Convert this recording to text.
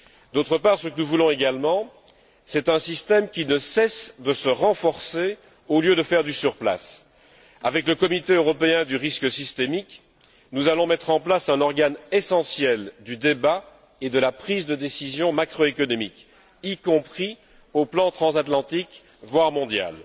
D'autre part, ce que nous voulons également, c'est un système qui ne cesse de se renforcer au lieu de faire du surplace. Avec le comité européen du risque systémique, nous allons mettre en place un organe essentiel du débat et de la prise de décision macroéconomique, y compris au plan transatlantique, voire mondial.